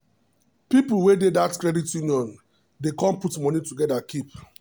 people wey dey dat credit union dey come put moni together keep.